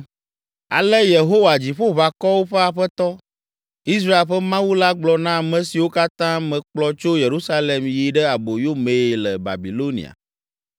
Ale Yehowa, Dziƒoʋakɔwo ƒe Aƒetɔ, Israel ƒe Mawu la gblɔ na ame siwo katã mekplɔ tso Yerusalem yi ɖe aboyo mee le Babilonia,